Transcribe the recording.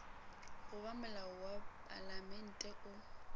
goba molao wa palamente o